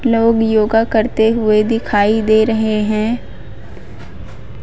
लोग योगा करते हुए दिखाई दे रहे हैं।